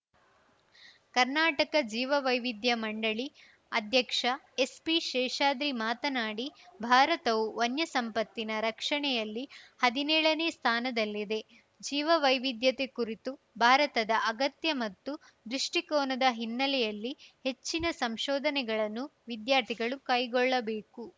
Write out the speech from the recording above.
ಕರ್ನಾಟಕ ಜೀವವೈವಿಧ್ಯ ಮಂಡಳಿ ಅಧ್ಯಕ್ಷ ಎಸ್‌ಪಿ ಶೇಷಾದ್ರಿ ಮಾತನಾಡಿ ಭಾರತವು ವನ್ಯಸಂಪತ್ತಿನ ರಕ್ಷಣೆಯಲ್ಲಿ ಹದಿನೇಳನೇ ಸ್ಥಾನದಲ್ಲಿದೆ ಜೀವವೈವಿಧ್ಯತೆ ಕುರಿತು ಭಾರತದ ಅಗತ್ಯ ಮತ್ತು ದೃಷ್ಟಿಕೋನದ ಹಿನ್ನೆಲೆಯಲ್ಲಿ ಹೆಚ್ಚಿನ ಸಂಶೋಧನೆಗಳನ್ನು ವಿದ್ಯಾರ್ಥಿಗಳು ಕೈಗೊಳ್ಳಬೇಕು